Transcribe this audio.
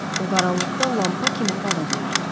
O qaranlıqda lampa kimi parıldayırdı.